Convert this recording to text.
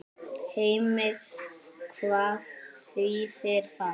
Heimir: Hvað þýðir það?